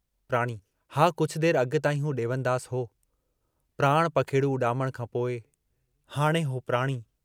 प्राणी, हा कुछ देर अॻु ताईं हू ॾेवनदास हो, प्राण पखेडू़ उॾामण खां पोइ हाणे हो प्राणी।